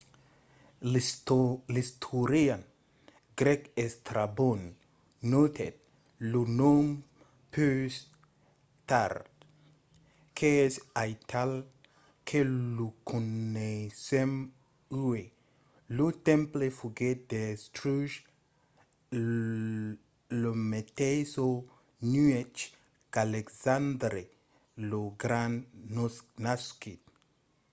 l'istorian grèc estrabon notèt lo nom pus tard qu'es aital que lo coneissèm uèi. lo temple foguèt destruch la meteissa nuèch qu'alexandre lo grand nasquèt